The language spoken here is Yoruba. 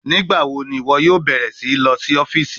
Nigbawo ni iwọ yoo bẹrẹ si lọ si ọfiisi?